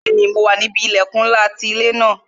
Bẹẹni, mo wà níbi ilẹkun ńlá ti ilé ńlá